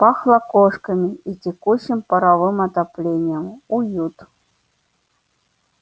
пахло кошками и текущим паровым отоплением уют